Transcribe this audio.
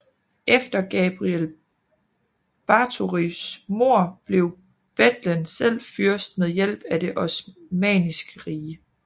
Efter Gabriel Báthorys mord blev Bethlen selv fyrst med hjælp af det Osmanniske Rige